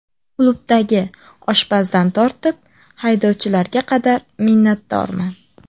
Klubdagi oshpazdan tortib, haydovchilarga qadar minnatdorman.